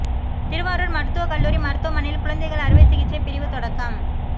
திருவாரூா் மருத்துவக் கல்லூரி மருத்துவமனையில் குழந்தைகள் அறுவை சிகிச்சைப் பிரிவு தொடக்கம்